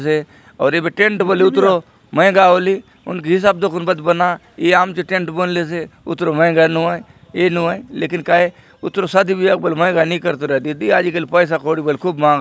ओर ये बिठ टेंट बली उतरो मएगा ओलि आम चे टेंट बनलोसे उटरोमे मे घर नुआई ए नुआई लेकिन काए उतरो शादी बिया पल महींगा नई करत रहत खूब मा --